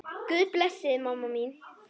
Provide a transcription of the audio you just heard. Guð blessi þig, mamma mín.